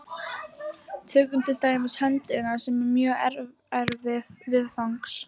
Tökum til dæmis höndina, sem er mjög erfið viðfangs.